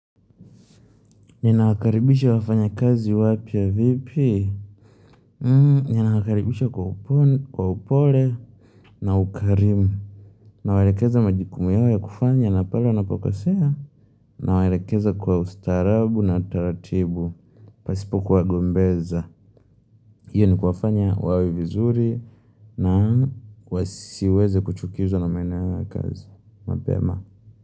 Ninawakaribisha wafanyakazi wapya vipi? Ninawakaribisha kwa upole na ukarimu. Na waelekeza majukumu yao ya kufanya na pale wanapokosea na waelekeza kwa ustarabu na taratibu. Pasipo kuwa gombeza. Iyo ni kufanya wawe vizuri na wasiweze kuchukizwa na maeneo yao ya kazi. Mapema.